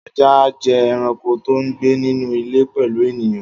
Ajá jẹ́ ẹranko tó ń gbé nínú ilé pẹ̀lú ènìyàn